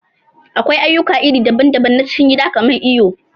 Akwai aƴuka iri daɓan-daɓan na cikin gida kaman iyo.